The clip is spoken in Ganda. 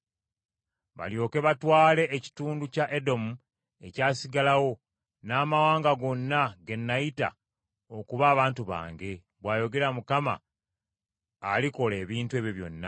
balyoke batwale ekitundu kya Edomu ekyasigalawo n’amawanga gonna ge nayita okuba abantu bange,” bw’ayogera Mukama alikola ebintu ebyo byonna.